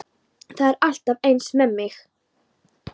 Það er alltaf eins með þig!